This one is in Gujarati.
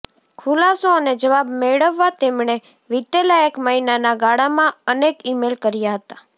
ખુલાસો અને જવાબ મેળવવા તેમણે વિતેલાં એક મહિનાના ગાળામાં અનેક ઇમેલ કર્યા હતા